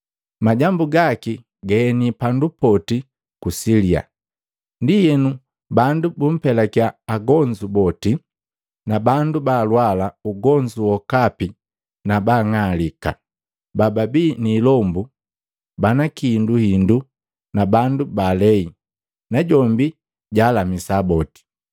Majambu gaki gaeni pandu poti ku Silia. Ndienu bandu bumpelakiya agonzu boti, na bandu balwala ugonzu wokapi na baang'alika, baabii ni ilombu, bana kihinduhindu na bandu baalei, najombi jaalamisa boti.